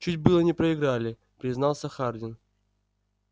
чуть было не проиграли признался хардин